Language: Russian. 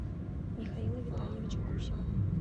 михаила витальевича гусева